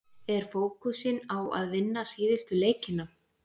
Er fókusinn á að vinna síðustu leikina?